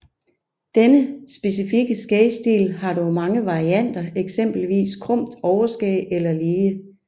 Denne specifikke skægstil har dog mange varianter eksempelvis krumt overskæg eller lige